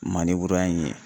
in ye.